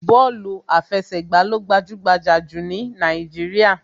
Bọ́ọ̀lù àfẹsẹ̀gbà ló gbajúgbajà jù ní Nàìjíríà